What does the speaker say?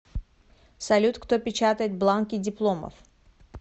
салют кто печатает бланки дипломов